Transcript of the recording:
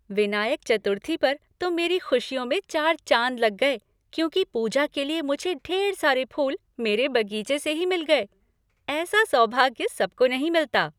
विनायक चतुर्थी पर तो मेरी खुशियों में चार चाँद लग गए क्योंकि पूजा के लिए मुझे ढेर सारे फ़ूल मेरे बगीचे से ही मिल गए। ऐसा सौभाग्य सबको नहीं मिलता।